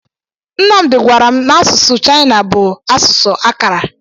Nnamdi gwara m n'asụsụ Chaịna bụ asụsụ akárà.